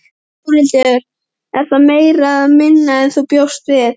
Þórhildur: Er það meira eða minna en þú bjóst við?